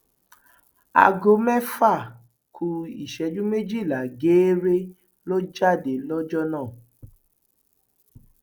aago mẹfà ku ìṣẹjú méjìlá geere ló jáde lọjọ náà